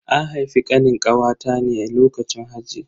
An haifi Kanin kawata ne a lokacin haji.